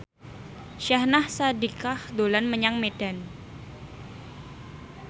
Syahnaz Sadiqah dolan menyang Medan